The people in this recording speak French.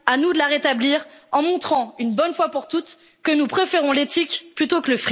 À nous de la rétablir en montrant, une bonne fois pour toutes, que nous préférons l'éthique au